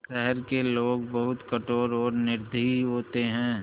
शहर के लोग बहुत कठोर और निर्दयी होते हैं